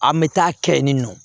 An bɛ taa kɛ yen nɔ